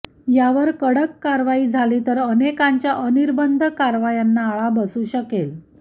यावर कडक कारवाई झाली तर अनेकांच्या अनिर्बंध कारवायांना आळा बसू शकेल